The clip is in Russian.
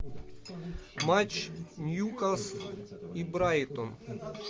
матч ньюкасл и брайтон